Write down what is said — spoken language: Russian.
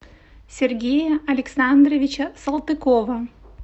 сергея александровича салтыкова